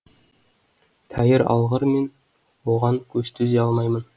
тәйір алғыр мен оған төзе алмаймын